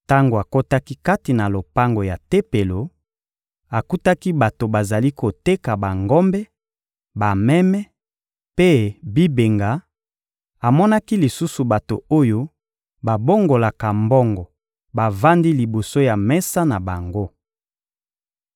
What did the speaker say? Tango akotaki kati na lopango ya Tempelo, akutaki bato bazali koteka bangombe, bameme mpe bibenga; amonaki lisusu bato oyo babongolaka mbongo bavandi liboso ya bamesa na bango.